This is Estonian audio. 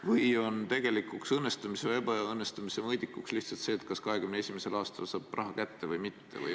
Või on tegelikuks õnnestumise või ebaõnnestumise mõõdikuks lihtsalt see, kas 2021. aastal ikka saab raha kätte või mitte?